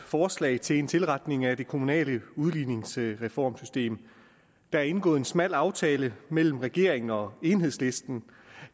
forslag til en tilretning af det kommunale udligningsreformsystem der er indgået en smal aftale mellem regeringen og enhedslisten